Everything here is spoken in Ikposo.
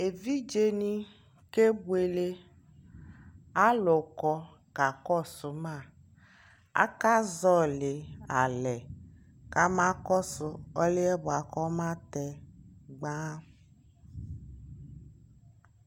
ɛvidzɛ ni kɛbʋɛlɛ, alʋ kɔ kakɔsʋ ma, aka zɔli alɛ kama kɔsʋ ɔlʋɛ bʋakʋ ɔma tɛ gbaan